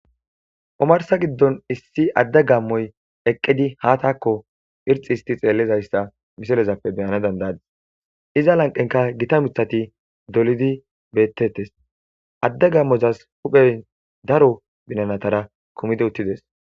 omarsa giddon issi adda gammoy eqqidi ha taakko irxi histi xeellizayssa misalezappe beyana dandaadis iza lanqenka gita mithati dolidi bettettes adda gammozas huphey daro binanatara kumidi uttides